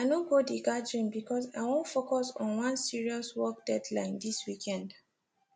i no go the gathering because i wan focus on one serious work deadline this weekend